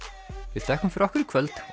við þökkum fyrir okkur í kvöld